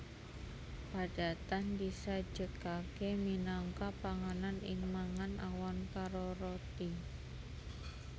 Padatan disajèkaké minangka panganan ing mangan awan karo roti